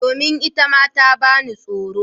Domin itama ta bani tsoro.